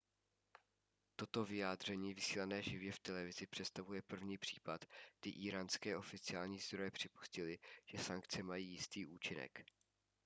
toto vyjádření vysílané živě v televizi představuje první případ kdy íránské oficiální zdroje připustily že sankce mají jistý účinek